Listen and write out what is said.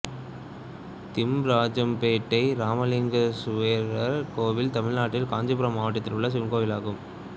திம்மராஜம்பேட்டை ராமலிங்கேசுவரர் கோயில் தமிழ்நாட்டில் காஞ்சீபுரம் மாவட்டத்தில் உள்ள சிவன் கோயிலாகும்